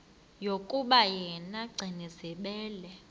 yokuba yena gcinizibele